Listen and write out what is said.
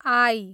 I